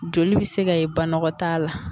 Joli bɛ se ka ye banɔgɔtaa la